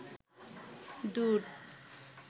দুত